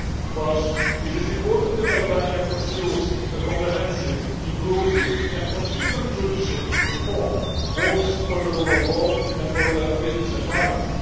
First, it is important that Albania pursue comprehensive, inclusive and consistent judicial reform, both for the rule of law and for the business environment.